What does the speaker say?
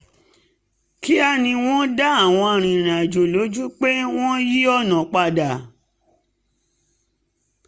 kíá ni wọ́n dá àwọn arìnrìnàjò lójú pé wọ́n yí ọ̀nà padà